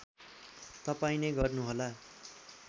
तपाईँ नै गर्नुहोला